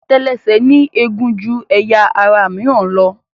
Àtẹlẹsẹ̀ ní eegun ju ẹyà ara mìíràn lọ.